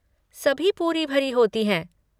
सभी पूरी भरी होती हैं।